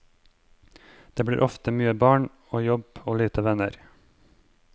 Det blir ofte mye barn og jobb og lite venner.